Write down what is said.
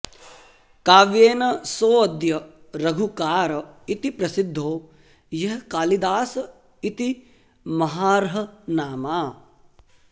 काव्येन सोऽद्य रघुकार इति प्रसिद्धो यः कालिदास इति महार्हनामा